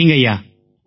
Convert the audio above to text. சரிங்கய்யா